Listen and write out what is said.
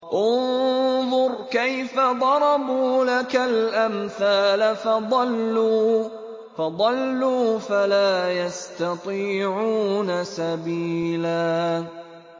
انظُرْ كَيْفَ ضَرَبُوا لَكَ الْأَمْثَالَ فَضَلُّوا فَلَا يَسْتَطِيعُونَ سَبِيلًا